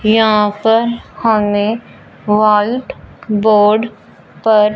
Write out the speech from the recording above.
यहां पर हमे वॉल्ट बोर्ड पर--